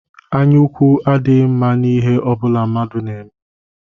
Anyaukwu adịghi mma n'ihe ọbụla mmadụ na-eme